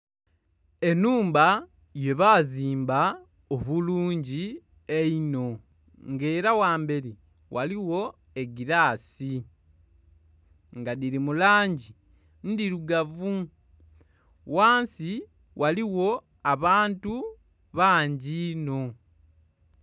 Enhumba yebazimba obulungi einho nga era ghamberi ghaligho egirasi nga dhiri mulangi ndhirugavu ghansi ghaligho abantu bangi inho.